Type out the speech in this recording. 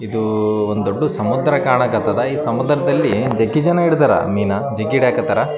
ಇಲ್ಲಿ ಒಂದು ದೊಡ್ಡ ಸಮುದ್ರವಿದೆ ಆ ಸಮುದ್ರದ ನೀರು ಕೂಡ ನೀಲಿ ಬಣ್ಣದಲ್ಲಿದೆ.